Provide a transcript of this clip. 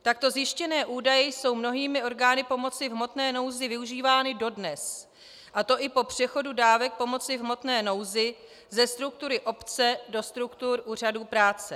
Takto zjištěné údaje jsou mnohými orgány pomoci v hmotné nouzi využívány dodnes, a to i po přechodu dávek pomoci v hmotné nouzi ze struktury obce do struktur úřadů práce.